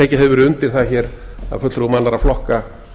tekið hefur verið undir það af fulltrúum annarra flokka